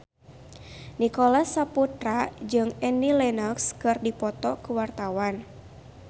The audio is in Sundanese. Nicholas Saputra jeung Annie Lenox keur dipoto ku wartawan